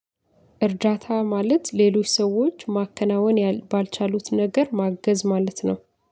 እርዳታ ማለት ሌሎች ሰዎች ማከናወን ባልቻሉት ነገር ማገዝ ማለት ነው።